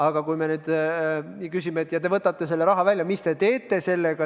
Aga küsime neilt, et kui te võtate selle raha välja, mis te teete sellega.